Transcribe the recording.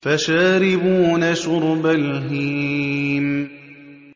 فَشَارِبُونَ شُرْبَ الْهِيمِ